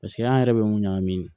Paseke an yɛrɛ bɛ mun ɲagamin